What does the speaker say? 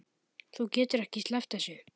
Þú getur ekki sleppt þessu.